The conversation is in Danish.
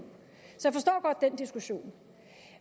diskussion